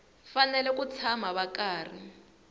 fanele ku tshama va karhi